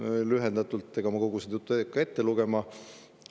Ma loen lühendatult ette, ega ma kogu seda juttu ei hakka ette lugema.